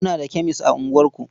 Muna da kemes a unguwarku.